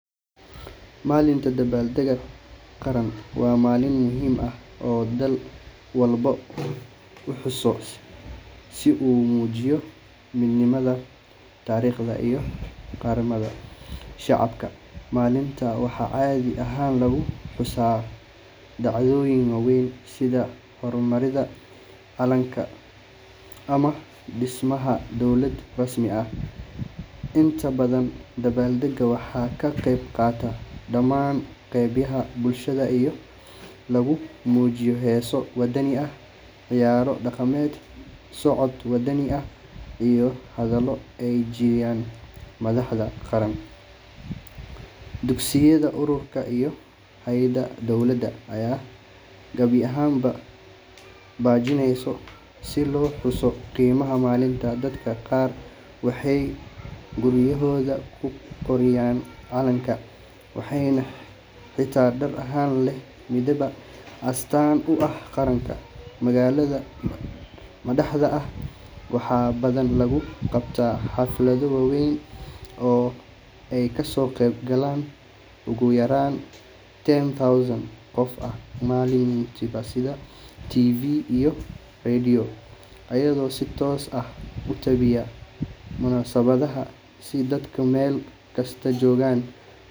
Maalinta dabaaldegga qaran waa maalin muhiim ah oo dal walba uu xuso si uu u muujiyo midnimada, taariikhda, iyo qaranimada shacabka. Maalintan waxaa caadi ahaan lagu xusaa dhacdooyin waaweyn sida xornimada, calan-saarka, ama dhismaha dowlad rasmi ah. Inta badan, dabaaldegga waxaa ka qeyb qaata dhammaan qaybaha bulshada iyadoo lagu muujiyo heeso wadani ah, ciyaaro dhaqameed, socod wadani ah iyo hadallo ay jeediyaan madaxda qaranka. Dugsiyada, ururada, iyo hay’adaha dowladda ayaa qabanqaabiya barnaamijyo si loo xuso qiimaha maalintan. Dadka qaar waxay guryahooda ku qurxiyaan calanka, waxayna xirtaan dhar leh midabada astaan u ah qaranka. Magaalada madaxda ah waxaa badanaa lagu qabtaa xaflado waaweyn oo ay kasoo qeyb galaan ugu yaraan ten thousand qof. Warbaahinta sida TV iyo radio ayaa si toos ah u tabiya munaasabadaha si dadka meel kasta joogaa uga qeyb qaataan. Ma.